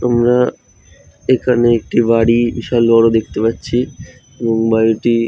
তোমরা এখানে একটি বাড়ি বিশাল বড় দেখতে পাচ্ছি এবং বাড়িটি --